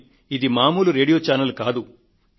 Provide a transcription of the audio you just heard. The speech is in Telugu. కానీ ఇది మామూలు రేడియో ఛానెల్ కాదు